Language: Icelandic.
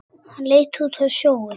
Hann leit út á sjóinn.